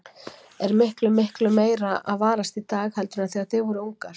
Er miklu, miklu meira að varast í dag heldur en þegar þið voruð ungar?